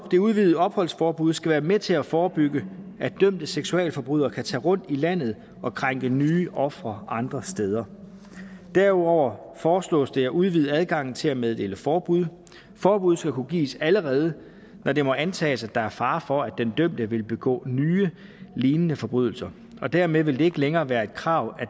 det udvidede opholdsforbud skal være med til at forebygge at dømte seksualforbrydere kan tage rundt i landet og krænke nye ofre andre steder derudover foreslås det at udvide adgangen til at meddele forbud forbuddet skal kunne gives allerede når det må antages at der er fare for at den dømte vil begå nye lignende forbrydelser dermed vil det ikke længere være et krav at